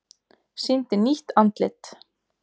Sýndi nýtt andlit